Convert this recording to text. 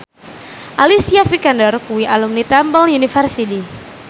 Alicia Vikander kuwi alumni Temple University